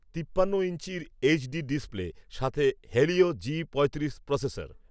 তিপ্পান্ন ইঞ্চির HD display, সাথে হেলিও জি পঁয়ত্রিশ প্রসেসর